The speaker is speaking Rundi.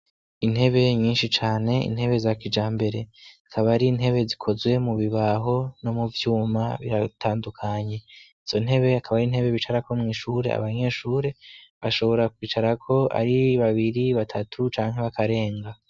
Intebe nyinshi cane, intebe za kijambere akaba ari intebe zikozwe mu bibaho no mu vyuma biratandukanye izo ntebe akaba ari intebe bicara ko mw ishure abanyeshure bashobora kwicarako ari babiri batatu canke bakarenga